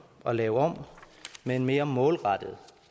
at lave om med en mere målrettet